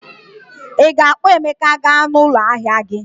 Ị ga-akpọ Emeka gaa n'ụlọ ahịa gị